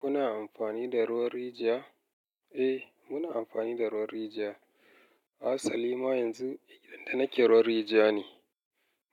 Kuna amfani da ruwan rijiya? Eh muna amfani da ruwan rijiya Asali ma yanzu inda nake ruwan rijiya ne.